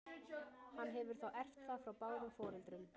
Hann hefur þá erft það frá báðum foreldrum.